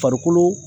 Farikolo